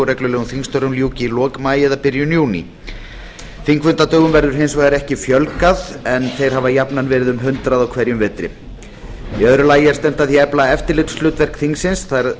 reglulegum þingstörfum ljúki í lok maí eða byrjun júní þingfundadögum verður hins vegar ekki fjölgað en þeir hafa jafnan verið um hundrað á hverjum vetri í öðru lagi er stefnt að því að efla eftirlitshlutverk þingsins það er